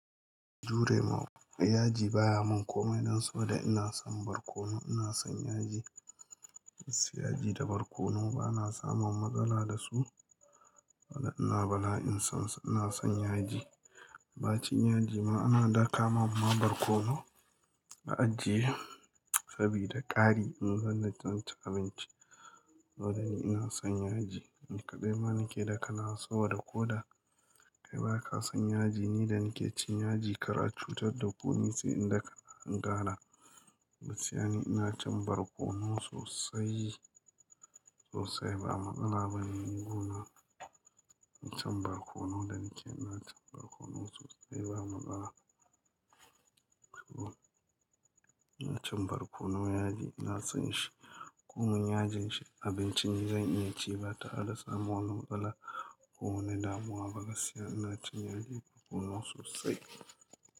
Jure ma, yaji baya mun komai dan saboda ina son barkono ina son yaji. Su yaji da barkono bana samun matsala da su. Saboda ina bala'in son su ina son yaji. Ba cin yaji ma ana daka man ma barkono a ajiye sabida kari in zan ci abinci. Saboda ni ina son yaji. Nika dai ma nike daka nawa saboda ko da kai baka son yaji ni da nike cin yaji kar a cutar da ku ni sai in daka in kara gaskiya ina cin barkono sosai sosai ba matsala bane. Ni kona ina cin barkono da nike ina cin barkono sosai ba matsala. To ina cin barkono yaji ina son shi. Ko min yajin shi abincin ni zai iya ci ba tare da samun wani matsala. Ko wani damuwa ba gaskiya ina cin yaji barkono sosai.